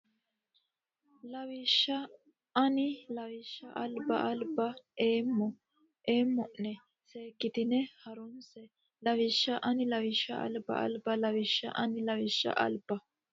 Lawishsha ani lawishsha alba albba eemma o nena seekkitine ha runse Lawishsha ani lawishsha alba albba Lawishsha ani lawishsha alba.